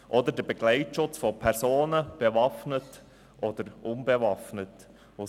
Ein anderes Beispiel ist der bewaffnete oder unbewaffnete Begleitschutz von Personen.